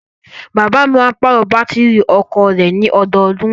Bàbáà mi máa ń pàrọ̀ Bátìrì ọkọ̀o rẹ̀ ní ọdọọdún.